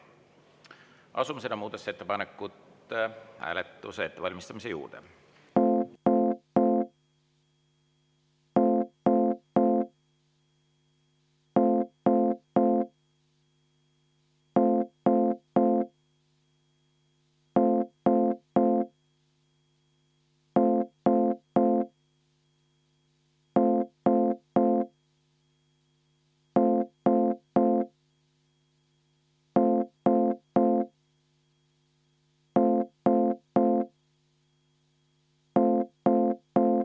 Asume selle muudatusettepaneku hääletuse ettevalmistamise juurde.